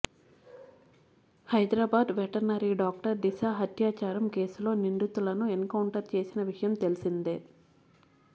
Hyderabad veterinary doctor Disha హత్యాచారం కేసులో నిందితులను ఎన్ కౌంటర్ చేసిన విషయం తెలిసిందే